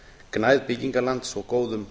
gnægð byggingarlands og góðum